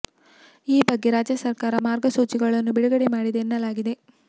ಈ ಬಗ್ಗೆ ರಾಜ್ಯ ಸರ್ಕಾರ ಮಾರ್ಗ ಸೂಚಿಗಳನ್ನು ಬಿಡುಗಡೆ ಮಾಡಿದೆ ಎನ್ನಲಾಗಿದೆ